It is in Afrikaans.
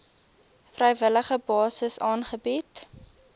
vrywillige basis aangebied